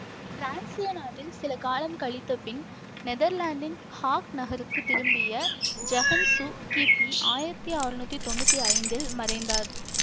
பிரான்சிய நாட்டில் சில காலம் கழித்தபின் நெதர்லாந்தின் ஹாக் நகருக்குத் திரும்பிய ஜகன்சு கிபி ஆயிரத்தி அறுநூற்றி தொன்னூற்தி ஐந்தில் மறைந்தார்